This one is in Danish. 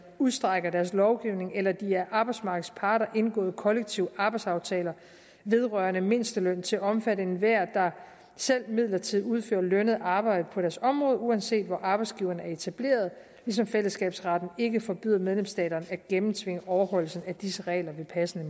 udstrækker deres lovgivning eller de af arbejdsmarkedets parter indgåede kollektive arbejdsaftaler vedrørende mindsteløn til at omfatte enhver der selv midlertidigt udfører lønnet arbejde på deres område uanset hvor arbejdsgiveren er etableret ligesom fællesskabsretten ikke forbyder medlemsstaterne at gennemtvinge overholdelsen af disse regler ved passende